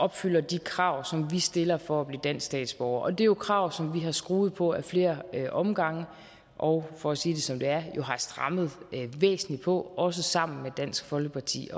opfylder de krav som vi stiller for at blive dansk statsborger og det er jo krav som vi har skruet på ad flere omgange og for at sige det som det er jo har strammet væsentlig på også sammen med dansk folkeparti